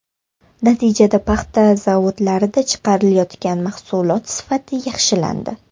Natijada paxta zavodlarida chiqarilayotgan mahsulot sifati yaxshilandi.